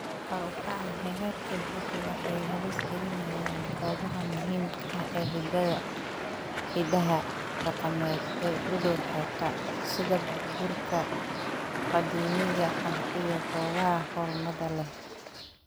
Kor u kaca heerarka baddu waxay halis gelinayaan goobaha muhiimka ah ee hiddaha dhaqameed ee u dhow xeebta, sida burburka qadiimiga ah iyo goobaha xurmada leh.